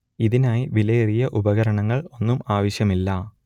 ഇതിനായി വിലയേറിയ ഉപകരണങ്ങൾ ഒന്നും ആവശ്യമില്ല